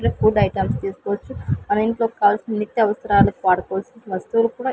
Food items తీసుకోవచ్చు మన ఇంట్లో కావలసిన నిత్య అవసరాలకు వాడుకోవాల్సిన వస్తువులు కూడా.